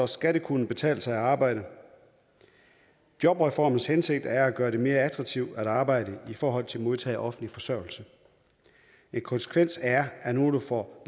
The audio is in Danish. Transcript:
skal det kunne betale sig at arbejde jobreformens hensigt er at gøre det mere attraktivt at arbejde i forhold til at modtage offentlig forsørgelse en konsekvens er at nogle får